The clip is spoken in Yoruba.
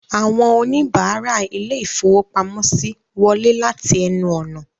Àwọn oníbàárà ilé-ìfowópamọ́sí wọlé láti ẹnu ọ̀nà